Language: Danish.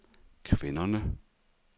kvinderne